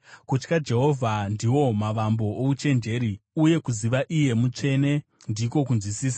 “Kutya Jehovha ndiwo mavambo ouchenjeri, uye kuziva Iye Mutsvene ndiko kunzwisisa.